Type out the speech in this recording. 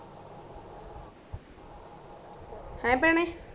ਹੈ ਭੈਣੇ